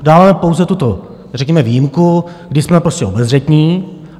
Dále pouze tuto řekněme výjimku, kdy jsme prostě obezřetní.